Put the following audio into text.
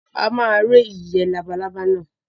A máa he ìyẹ́ labalábá náà.